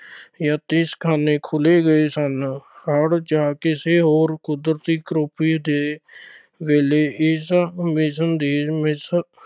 ਯਤੀਮਖਾਨੇ ਖੋਲੇ ਗਏ ਸਨ। ਹੜ੍ਹ ਜਾਂ ਕਿਸੇ ਹੋਰ ਕੁਦਰਤੀ ਕਰੋਪੀ ਦੇ ਵੇਲੇ ਇਸ mission ਦੀ